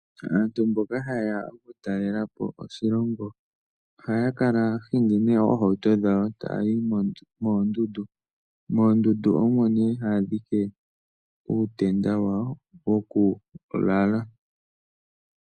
Aantu mboka haye ya oku talela po oshilongo ohaya kala taya hingi nee oohauto dhawo, taya yi moondundu. Moondundu omo nee haya dhike uutenda wawo woku lala.